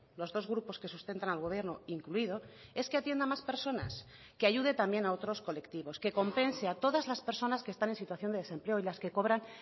los dos grupos que sustentan al gobierno incluido es que atienda a más personas que ayude también a otros colectivos que compense a todas las personas que están en situación de desempleo y las que cobran